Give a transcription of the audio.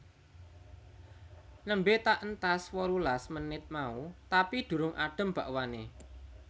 Nembe tak entas wolulas menit mau tapi durung adem bakwane